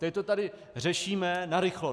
Teď to tady řešíme narychlo.